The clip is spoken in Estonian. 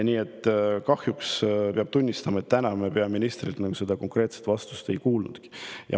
Nii et kahjuks peab tunnistama, et täna me peaministrilt konkreetset vastust ei kuulnud.